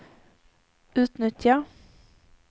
utnyttja